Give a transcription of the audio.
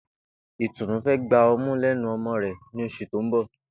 Ìtùnú fé̩ gba o̩mú lénu o̩mo̩ rè̩ ní os̩ù tó ń bò̩